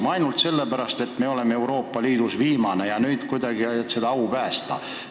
Kas ainult sellepärast, et me oleme Euroopa Liidus viimased ja nüüd tuleb kuidagi oma au päästa?